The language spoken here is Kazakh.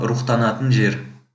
рухтанатын жер